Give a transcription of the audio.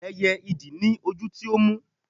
ẹyẹ idì ni ojú tí ó mú